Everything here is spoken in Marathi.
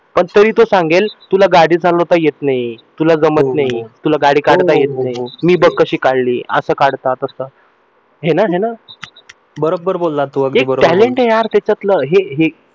पण तरी तो सांगेल तुला गाडी चालवता येत नाही तूला जमत नाही तुला गाडी काढता येत नाही मी बघ कशी काढली असं काढता तस हे ना हे ना एक talent आहे यार हे त्याच्यातलं हे हे